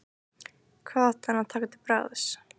Hvað átti hann að taka til bragðs?